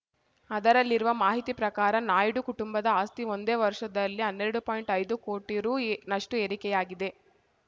ಅದರಲ್ಲಿರುವ ಮಾಹಿತಿ ಪ್ರಕಾರ ನಾಯ್ಡು ಕುಟುಂಬದ ಆಸ್ತಿ ಒಂದೇ ವರ್ಷದಲ್ಲಿ ಹನ್ನೆರಡು ಪಾಯಿಂಟ್ಐದು ಕೋಟಿ ರುನಷ್ಟುಏರಿಕೆಯಾಗಿದೆ